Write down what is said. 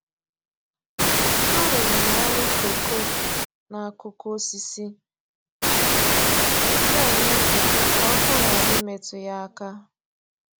Arụrụ m ọrụ kooko n'akụkụ osisi na-enye mkpuchi ka ọkụ ghara imetụ ya aka.